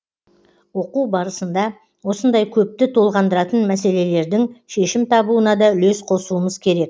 оқу барысында осындай көпті толғандыратын мәселелердің шешім табуына да үлес қосуымыз керек